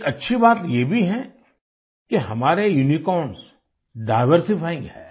एक अच्छी बात ये भी है कि हमारे यूनिकॉर्न्स डाइवर्सिफाइंग हैं